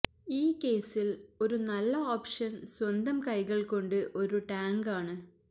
ഈ കേസിൽ ഒരു നല്ല ഓപ്ഷൻ സ്വന്തം കൈകൾ കൊണ്ട് ഒരു ടാങ്ക് ആണ്